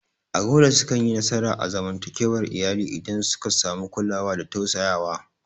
Agola sukanyi nasara a zamantakewar iyali idan suka samu kulawa da tausayawa.